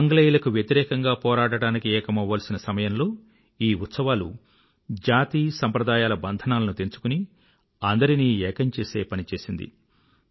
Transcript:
ఆంగ్లేయులకు వ్యతిరేకంగా పోరాడటానికి ఏకమవ్వాల్సిన సమయంలో ఈ ఉత్సవాలు జాతి సంప్రదాయాల బంధనాలను తెంచుకుని అందరినీ ఏకం చేసే పని చేసింది